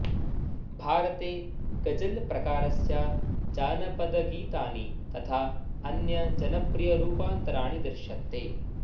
भारते गजल् प्रकारस्य जानपदगीतानि तथा अन्य जनप्रियरूपान्तराणि दृश्यन्ते